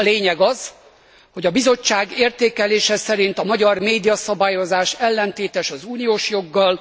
A lényeg az, hogy a Bizottság értékelése szerint a magyar médiaszabályozás ellentétes az uniós joggal.